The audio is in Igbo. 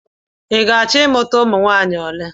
I ga-achọ ịmụta ụmụ nwaanyị ole?